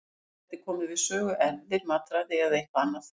Þarna gætu komið við sögu erfðir, mataræði eða eitthvað annað.